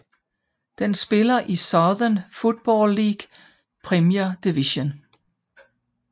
Den spiller i Southern Football League Premier Division